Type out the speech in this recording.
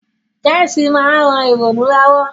Chess ma n ran ìrònú lowo